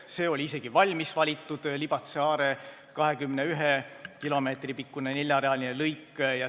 See oli isegi valmis valitud, Libatse–Are 21 kilomeetri pikkune neljarealine lõik.